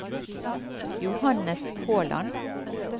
Johannes Håland